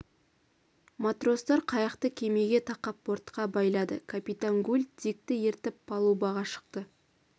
матростар қайықты кемеге тақап бортқа байлады капитан гуль дикті ертіп палубаға шықты